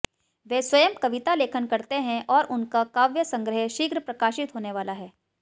वे स्वयं कविता लेखन करते हैं और उनका काव्य संग्रह शीघ्र प्रकाशित होने वाला है